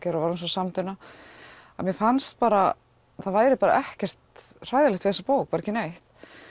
að mér fannst bara að það væri ekkert hræðilegt við þessa bók bara ekki neitt